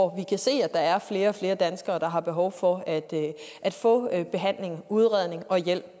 kan se at der er flere og flere danskere der har behov for at få behandling udredning og hjælp